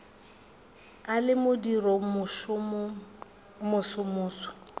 a le moriting wo mosomoso